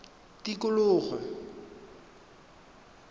tikologo